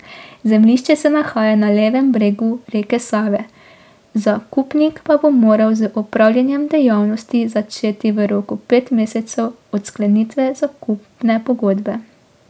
Zemljišče se nahaja na levem bregu reke Save, zakupnik pa bo moral z opravljanjem dejavnosti začeti v roku pet mesecev od sklenitve zakupne pogodbe.